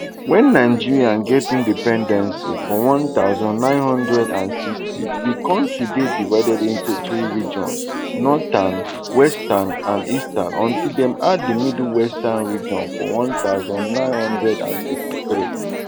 wen nigeria get independence for one thousand, nine hundred and sixty di kontri dey divided into three regions northern western and eastern until dem add di midwestern region for one thousand, nine hundred and sixty-three